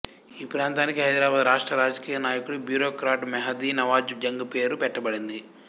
ఈ ప్రాంతానికి హైదరాబాదు రాష్ట్ర రాజకీయ నాయకుడు బ్యూరోక్రాట్ మెహదీ నవాజ్ జంగ్ పేరు పెట్టబడింది